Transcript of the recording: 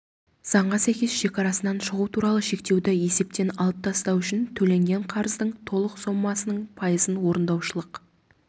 заңға сәйкес шекарасынан шығу туралы шектеуді есептен алып тастау үшін төленген қарыздың толық сомасының пайызын орындаушылық